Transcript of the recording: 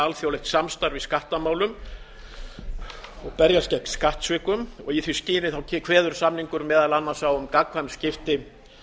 alþjóðlegt samstarf í skattamálum og berjast gegn skattsvikum og í því skyni kveður samningurinn meðal annars á um gagnkvæm skipti